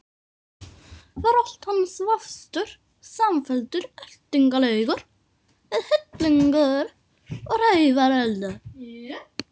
Var allt hans vafstur samfelldur eltingarleikur við hillingar og hrævarelda?